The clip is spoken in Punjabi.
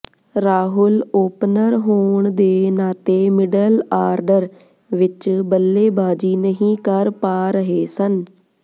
ਰਾਹੁਲ ਓਪਨਰ ਹੋਣ ਦੇ ਨਾਤੇ ਮਿਡਲ ਆਰਡਰ ਵਿੱਚ ਬੱਲੇਬਾਜੀ ਨਹੀਂ ਕਰ ਪਾ ਰਹੇ ਸਨ